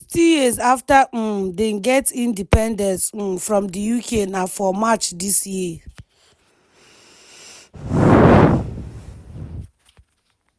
sixty years after um dem get independence um from di uk na for march dis year